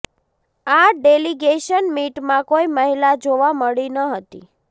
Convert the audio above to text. આ ડેલીગેશન મીટમાં કોઈ મહિલા જોવા મળી ન હતી